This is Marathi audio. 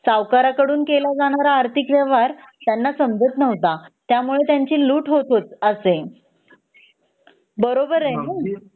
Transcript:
सावकारांकडून केला जाणारा आर्थिक व्यवहार त्यांना समजत नव्हता त्यामुळे लूट होत हो असे बरोबर आहे न